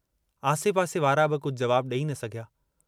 आसे पासे वारा बि कुझ जवाबु डेई न सघिया।